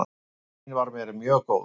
Amma mín var mér mjög góð.